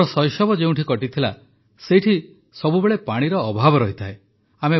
ମୋ ଶୈଶବ ଯେଉଁଠି କଟିଥିଲା ସେଇଠି ସବୁବେଳେ ପାଣିର ଅଭାବ ରହିଥାଏ